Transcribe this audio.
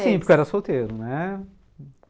Ah, sim, porque eu era solteiro, né?